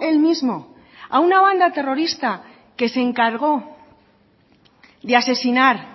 él mismo a una banda terrorista que se encargó de asesinar